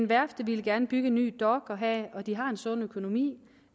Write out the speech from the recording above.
værftet ville gerne bygge en ny dok og de har en sund økonomi